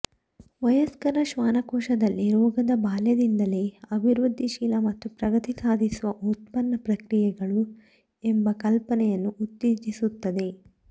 ವಯಸ್ಕರ ಶ್ವಾಸಕೋಶದಲ್ಲಿ ರೋಗದ ಬಾಲ್ಯದಲ್ಲೆಲ್ಲಾ ಅಭಿವೃದ್ಧಿಶೀಲ ಮತ್ತು ಪ್ರಗತಿ ಸಾಧಿಸುವ ಉತ್ಪನ್ನ ಪ್ರಕ್ರಿಯೆಗಳು ಎಂಬ ಕಲ್ಪನೆಯನ್ನು ಉತ್ತೇಜಿಸುತ್ತದೆ